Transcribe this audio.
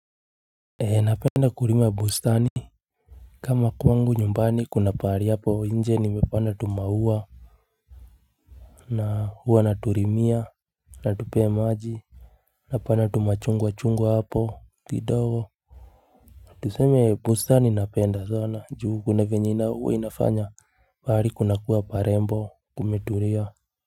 Napenda kulima bustani kama kwangu nyumbani kuna pahali hapo nje nimepanda tumaua na huwa na tulimia na tupea maji na pana tumachungwa chungwa hapo kidogo tuseme bustani napenda sana juu kuna vyenye inafanya pahali kunakuwa parembo kumetulia.